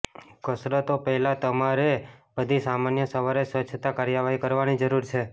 કસરતો પહેલાં તમારે બધી સામાન્ય સવારે સ્વચ્છતા કાર્યવાહી કરવાની જરૂર છે